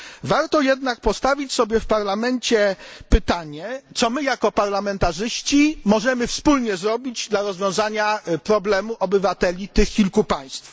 Warto jednak postawić sobie w Parlamencie pytanie co my jako parlamentarzyści możemy wspólnie zrobić, żeby rozwiązać problem obywateli tych kilku państw?